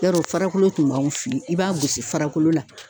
Yarɔ farakolo tun b'anw fe yen i b'a gosi farakolo la